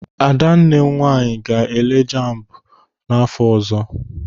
Ada nwanne m nwaanyị ga-ele jambu n'afọ ọzọ.